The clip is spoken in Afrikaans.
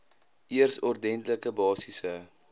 eers ordentlike basiese